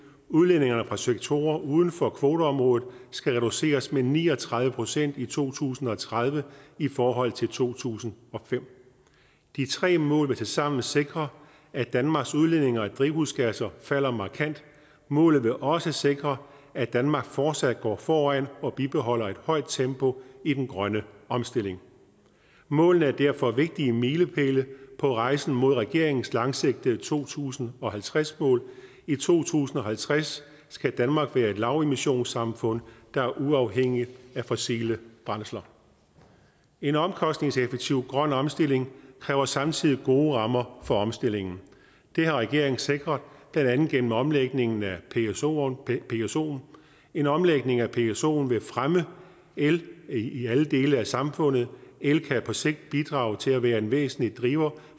udledninger fra sektorer uden for kvoteområdet skal reduceres med ni og tredive procent i to tusind og tredive i forhold til to tusind og fem de tre mål vil tilsammen sikre at danmarks udledninger af drivhusgasser falder markant målet vil også sikre at danmark fortsat går foran og bibeholder et højt tempo i den grønne omstilling målene er derfor vigtige milepæle på rejsen mod regeringens langsigtede to tusind og halvtreds mål i to tusind og halvtreds skal danmark være et lavemissionssamfund der er uafhængigt af fossile brændsler en omkostningseffektiv grøn omstilling kræver samtidig gode rammer for omstillingen det har regeringen sikret blandt andet gennem omlægningen af psoen en omlægning af psoen vil fremme el i alle dele af samfundet el kan på sigt bidrage til og være en væsentlig driver